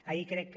ahir crec que